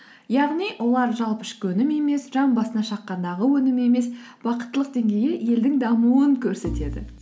яғни олар жалпы ішкі өнім емес жан басына шаққандағы өнім емес бақыттылық деңгейі елдің дамуын көрсетеді